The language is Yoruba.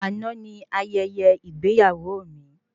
Àná ni ayẹyẹ ìgbéyàwó mí